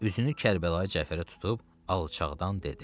Üzünü Kərbəlayı Cəfərə tutub alçaqdan dedi: